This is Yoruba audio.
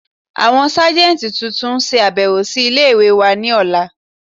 Àwọn sáàjẹntí tuntun n ṣàbẹ̀wò sí ilẹ̀-ìwé wà ni òla.